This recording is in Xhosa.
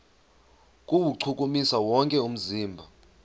kuwuchukumisa wonke umzimba